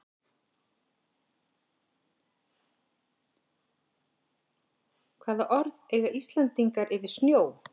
Hvaða orð eiga Íslendingar yfir snjó?